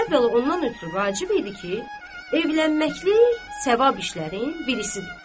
Əvvəla ondan ötrü vacib idi ki, evlənməklik savab işlərin birisidir.